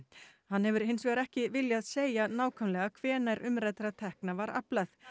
hann hefur hins vegar ekki viljað segja nákvæmlega hvenær umræddra tekna var aflað